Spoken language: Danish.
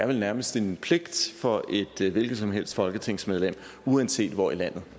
er vel nærmest en pligt for et hvilket som helst folketingsmedlem uanset hvor i landet